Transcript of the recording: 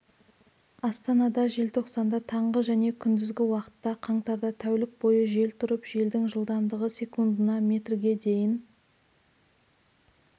астанада желтоқсанда таңғы және күндізгі уақытта қаңтарда тәулік бойы жел тұрып желдің жылдамдығы секундына метрге дейін